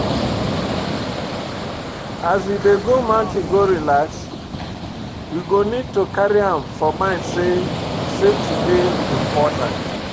As we dey go mountain go relax, we go need to carry am for mind sey safety dey important